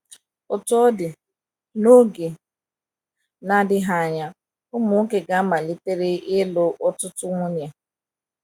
Otú ọ dị, n’oge na - adịghị anya, ụmụ nwoke ga amalitere ịlụ ọtụtụ nwunye.